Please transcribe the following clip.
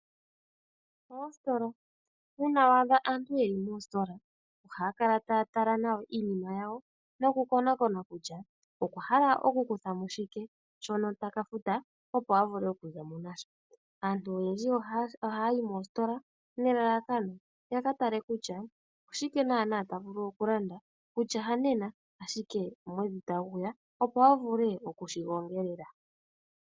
Oositola. Uuna waadha aantu yeli moositola, ohaa kala taa tala nawa iinima yawo nokukonakona kutya oyahalae okukuthamo shike shono taka futa opo avule okuzamo nasho. Aantu oyendji ohaa yi moositola nelalakano yaka tale kutya , oshike naanaa taavulu okulanda kutya hanena ashike omwedhi taguya opo avule okushigongelela.